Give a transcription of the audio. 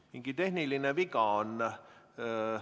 Mingi tehniline viga on.